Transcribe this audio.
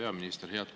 Hea peaminister!